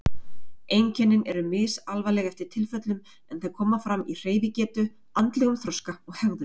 Einkennin eru misalvarleg eftir tilfellum en þau koma fram í hreyfigetu, andlegum þroska og hegðun.